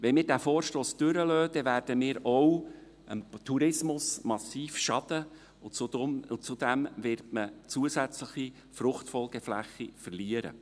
Wenn wir diesen Vorstoss durchgehen lassen, werden wir auch dem Tourismus massiv Schaden zufügen, und zudem wird man zusätzliche Fruchtfolgefläche verlieren.